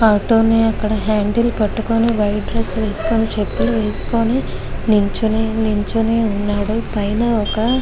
auto ని అక్కడ handle పట్టుకొని వైట్ డ్రెస్ వేసుకొని చేపుల్లు వేసుకొని నిలుచొని నిలుచొని వున్నాడు పైనా ఒక్క--